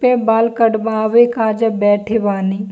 पे बाल कटबावे का जे बैठे बानी।